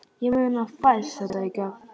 Ég meina, fæst þetta í gegn?